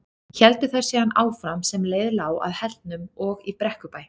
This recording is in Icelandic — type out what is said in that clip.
Héldu þær síðan áfram sem leið lá að Hellnum og í Brekkubæ.